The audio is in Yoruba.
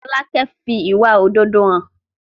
Folákẹ́ fi ìwà òdodo hàn